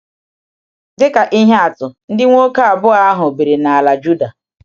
Dịka ihe atụ, ndị nwoke abụọ ahụ biri n’ala Júdà.